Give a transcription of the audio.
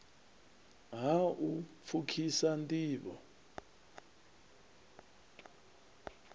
ha u pfukhisa nd ivho